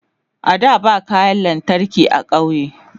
a da ba kayan lantarki a ƙauye